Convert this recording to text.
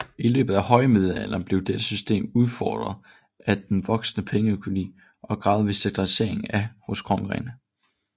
I løbet af højmiddelalderen blev dette system udfordret af den voksende pengeøkonomi og den gradvise centralisering af magten hos kongerne